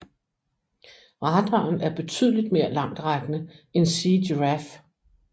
Radaren er betydeligt mere langtrækkende end Sea Giraffe